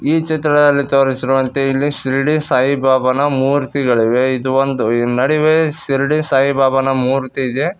ಈ ಚಿತ್ರದಲ್ಲಿ ತೋರಿಸಿರುವಂತೆ ಇಲ್ಲಿ ಶಿರಡಿ ಸಾಯಿ ಬಾಬಾನ ಮೂರ್ತಿಗಳಿವೆ ಇದು ಒಂದು ನಡಿವೆ ಶಿರಡಿ ಸಾಯಿ ಬಾಬಾನ ಮೂರ್ತಿ ಇದೆ.